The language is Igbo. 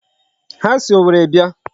Ha si Owerri bịa.